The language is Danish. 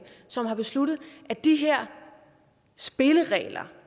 som har besluttet at de her spilleregler